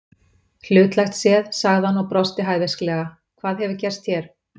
Hlutlægt séð, sagði hann og brosti hæversklega, hvað hefur gerst hér?